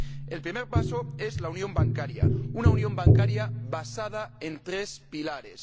El primer paso es la unión bancaria una unión bancaria basada en tres pilares.